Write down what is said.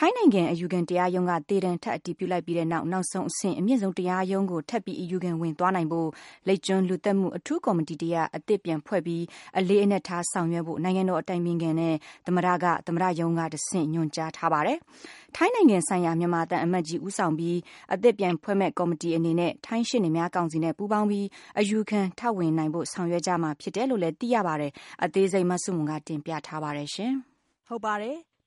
ထိုင်းနိုင်ငံ အယူခံတရားရုံးက သေဒဏ်ထပ်အတည်ပြုလိုက်ပြီးတဲ့နောက် နောက်ဆုံးအဆင့် အမြင့်ဆုံးတရားရုံးကို ထပ်ပြီးအယူခံဝင်သွားနိုင်ဖို့ လိပ်ကျွန်းလူသတ်မှု အထူးကော်မတီတရပ် အသစ်ပြန်ဖွဲ့ပြီး အလေးအနက်ထားဆောင်ရွက်ဖို့ နိုင်ငံတော်အတိုင်ပင်ခံနဲ့ သမ္မတက သမ္မတရုံးကတဆင့် တိုက်ရိုက်ညွှန်ကြားထားပါတယ်။ ထိုင်းနိုင်ငံဆိုင်ရာမြန်မာသံအမတ်ကြီး ဦးဆောင်ပြီး အသစ်ပြန်ဖွဲ့မယ့်ကော်မတီအနေနဲ့ ထိုင်းရှေ့နေများကောင်စီနဲ့ ပူးပေါင်း ပြီး အယူခံထပ်ဝင်နိုင်ဖို့ ဆောင်ရွက်ကြမှာဖြစ်တယ်လို့လည်း သိရပါတယ်။ အသေးစိတ် မဆုမွန် တင်ပြထားပါတယ်။